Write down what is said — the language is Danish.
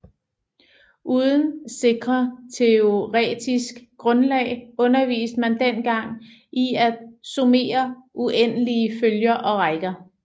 Uden sikre teoretisk grundlag underviste man den gang i at summere uendelige følger og rækker